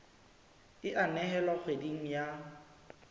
e a nehelwa kgweding ya